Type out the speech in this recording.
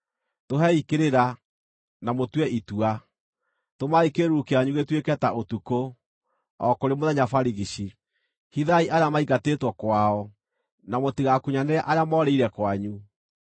“Tũhei kĩrĩra, na mũtue itua. Tũmai kĩĩruru kĩanyu gĩtuĩke ta ũtukũ, o kũrĩ mũthenya barigici. Hithai arĩa maingatĩtwo kwao, na mũtigakunyanĩre arĩa moorĩire kwanyu.